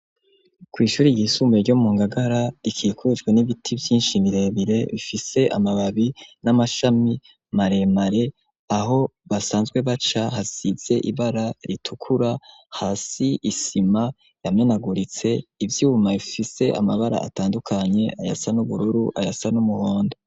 Kw'ishuri ryisumbuye ryo mu Ngagara rikikujwe n'ibiti vyinshi birebire bifise amababi n'amashami maremare, aho basanzwe baca hasize ibara ritukura hasi isima yamenaguritse ivyuma bifise amabara atandukanye: ayasa n'ubururu, ayasa n'umuhondo.